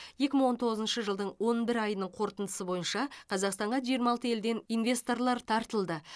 екі мың он тоғызыншы жылдың он бір айының қорытындысы бойынша қазақстанға жиырма алты елден инвесторлар тартылды